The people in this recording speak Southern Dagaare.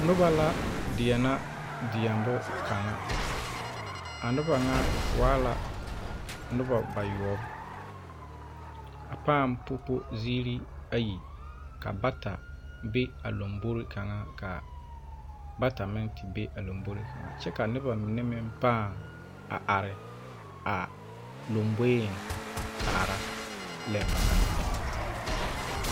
Noba la deɛnɛ deɛmbo kaŋa a noba ŋa waa la noba bayɔɔbo a paaŋ popo ziire ayi ka bata be a lambore kaŋa ka bata meŋ te be a lambore kaŋe kyɛ ka noba mine meŋ paa a are a lomboeŋ kaara lɛ ba naŋ deɛnɛ.